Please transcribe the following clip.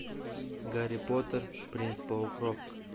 гарри поттер принц полукровка